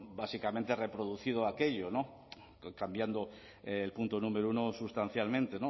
básicamente reproducido aquello cambiando el punto número uno sustancialmente